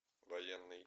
военный